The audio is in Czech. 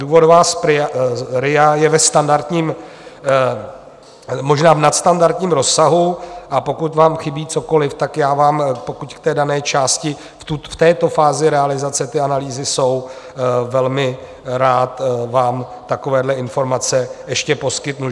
Důvodová RIA je ve standardním, možná v nadstandardním rozsahu, a pokud vám chybí cokoliv, tak já vám, pokud v té dané části v této fázi realizace ty analýzy jsou, velmi rád vám takovéhle informace ještě poskytnu.